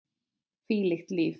Hvílíkt líf!